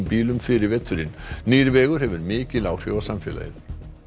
bílum fyrir veturinn nýr vegur hefur mikil áhrif á samfélagið